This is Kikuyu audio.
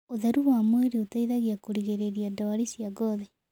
Ũtherũ wa mwĩrĩ ũteĩthagĩa kũrĩgĩrĩrĩa ndwarĩ cia ngothĩ